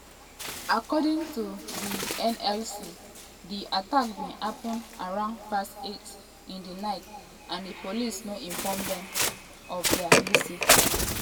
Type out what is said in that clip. according to di nlc di attack bin happun around past 8 in di night and di police no inform dem of dia visit.